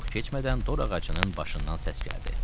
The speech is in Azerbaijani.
Çox keçmədən dorağacının başından səs gəldi: